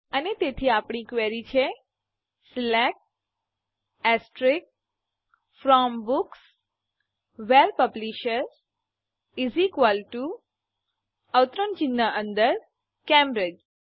અને તેથી આપણી ક્વેરી છે select from books where publisher Cambridge